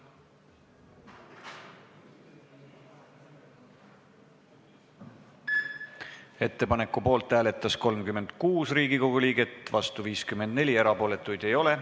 Hääletustulemused Ettepaneku poolt hääletas 36 Riigikogu liiget, vastu oli 54, erapooletuid ei ole.